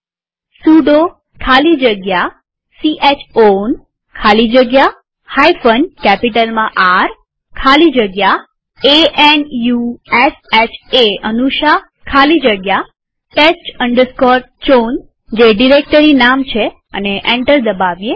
sudo ખાલી જગ્યા chown ખાલી જગ્યા કેપિટલમાંR ખાલી જગ્યા a n u s h એ ખાલી જગ્યા test chown જે ડિરેક્ટરી નામ છે અને એન્ટર દબાવીએ